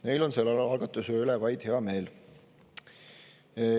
Neil on selle algatuse üle vaid hea meel.